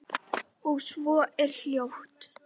Og svo er hljótt.